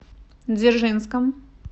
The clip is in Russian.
дзержинском